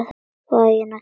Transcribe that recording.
Vagninn að keyra.